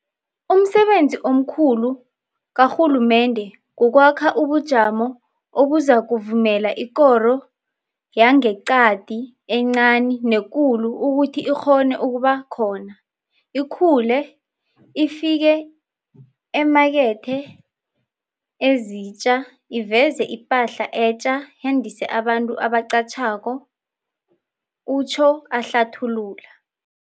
Umsebenzi omkhulu karhulumende kukwakha ubujamo obuzakuvumela ikoro yangeqadi encani nekulu ukuthi ikghone ukuba khona, ikhule, ifike eemakethe ezitja, iveze ipahla etja, yandise abantu ebaqatjhako, utjho ahlathulula.